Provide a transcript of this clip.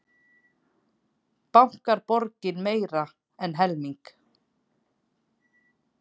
Bankar borgi meira en helming